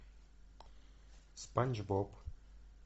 спанч боб